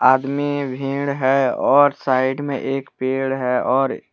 भिड़ हैऔर साइड मे एक पेड़ हैऔर--